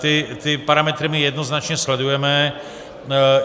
Ty parametry my jednoznačně sledujeme.